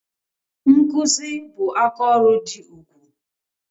Nkụzi bụ aka ọrụ dị ugwu